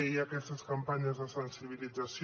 hi ha aquestes campanyes de sensibilització